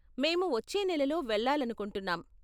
మేము వచ్చే నెలలో వెళ్ళాలనుకుంటున్నాం.